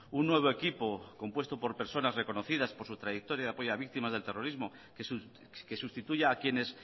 un nuevo equipo compuesto por personas reconocidas por su trayectoria de apoyo a víctimas del terrorismo que sustituya a quienes